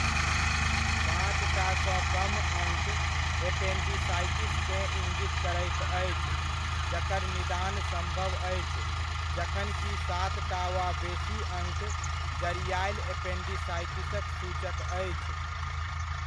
पॉंचटा सँ कम अङ्क एपेंडिसाइटिसकेँ इङ्गित करैत अछि, जकर निदान सम्भव अछि जखनकि सातटा वा बेसी अङ्क जड़िआयल एपेंडिसाइटिसक सूचक अछि।